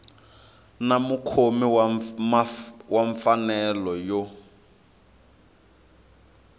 na mukhomi wa mfanelo yo